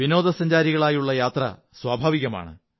വിനോദസഞ്ചാരികളായുള്ള യാത്ര സ്വാഭാവികമാണ്